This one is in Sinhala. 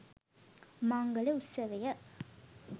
මංගල උත්සවය